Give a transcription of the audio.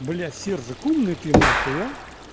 бля сержик умный ты нахуй а